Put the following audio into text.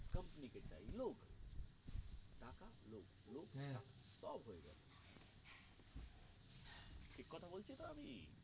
set আমি